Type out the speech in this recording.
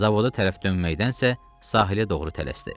Zavoda tərəf dönməkdənsə sahilə doğru tələsdi.